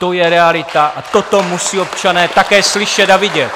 To je realita a toto musí občané také slyšet a vidět!